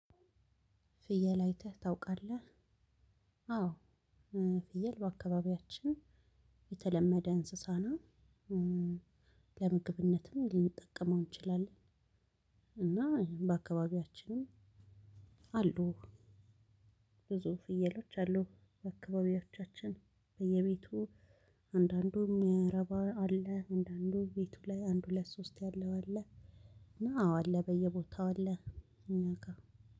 ፍየል አይተህ ታውቃለህ? አዎ። ፍየል በአካባቢያችን የተለመደ እንስሳና ለምግብነትም ሊንጠቀመው እንችላለን። እና በአካባቢያችንም አሉ። ብዙ ፍየሎች አሉ በአካባቢዎቻችን በየቤቱ አንዳንዱ ምረባ አለ። አንዳንዱ ቤቱ ላይ አንድ ሁለት ሶስት ያለው አለ። እና አዎ አለ በየቦታው አለ። እናካ